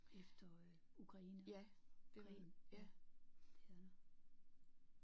Efter øh Ukraine krigen. Ja det er der